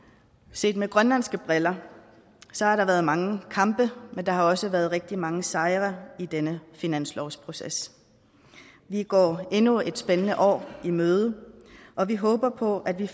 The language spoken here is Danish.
set med grønlandske briller har der været mange kampe men der har også været rigtig mange sejre i denne finanslovsproces vi går endnu et spændende år i møde og vi håber på at vi